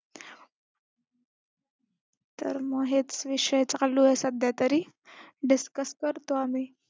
तर मग हेच विषय चालू आहे सध्या तरी, discuss करतो आम्ही.